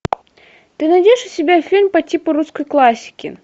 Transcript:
ты найдешь у себя фильм по типу русской классики